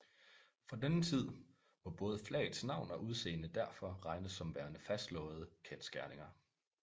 Fra denne tid må både flagets navn og udseende derfor regnes som værende fastslåede kendsgerninger